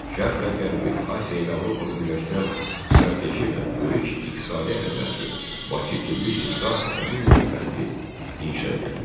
Şərqlə Qərbi, Asiya ilə Avropanı birləşdirən strateji və böyük iqtisadi əhəmiyyətli Bakı-Tbilisi-Qars dəmir yolu xətti inşa edilmişdi.